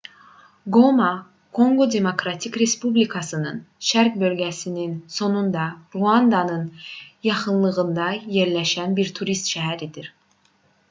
qoma konqo demokratik respublikasının şərq bölgəsinin sonunda ruandanın yaxınlığında yerləşən bir turist şəhəridir